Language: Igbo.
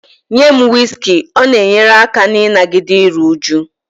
Nye m whiskey, ọ na-enyere aka n'ịnagide iru újú